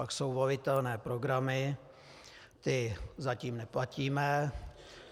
Pak jsou volitelné programy, ty zatím neplatíme.